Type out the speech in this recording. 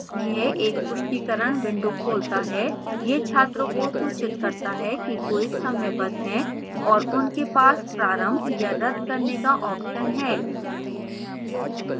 यह एक पुष्टिकरण window खोलता है यह छात्रों को सूचित करता है कि quiz समयबद्ध है और उनके पास प्रारंभ या रद्द करने का option है